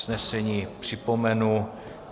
Usnesení připomenu.